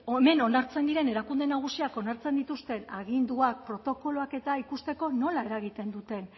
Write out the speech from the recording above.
honen onartzen diren erakunde nagusiak onartzen dituzten aginduak protokoloak eta ikusteko nola eragiten duten